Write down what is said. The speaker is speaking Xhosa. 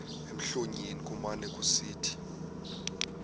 emlonyeni kumane kusithi